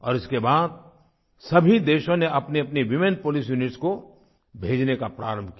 और इसके बाद सभी देशों ने अपनीअपनी वूमेन पोलिस यूनिट्स को भेजना प्रारंभ किया